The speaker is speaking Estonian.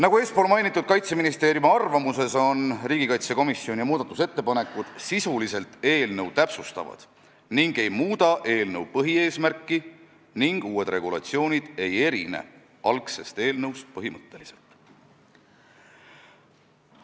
Nagu eespool mainitud Kaitseministeeriumi arvamuses öeldud, on riigikaitsekomisjoni muudatusettepanekud sisuliselt eelnõu täpsustavad ega muuda eelnõu põhieesmärki ning uued regulatsioonid ei erine algsest eelnõust põhimõtteliselt.